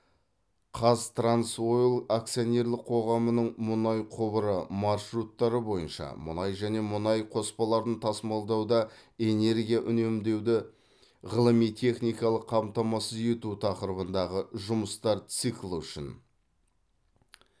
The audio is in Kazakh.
қазтрансойл акционерлік қоғамының мұнай құбыры маршруттары бойынша мұнай және мұнай қоспаларын тасымалдауда энергия үнемдеуді ғылыми техникалық қамтамасыз ету тақырыбындағы жұмыстар циклі үшін